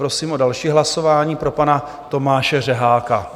Prosím o další hlasování pro pana Tomáše Řeháka.